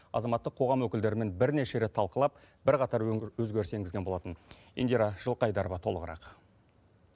азаматтық қоғам өкілдерімен бірнеше рет талқылап бірқатар өзгеріс енгізген болатын индира жылқыайдарова толығырақ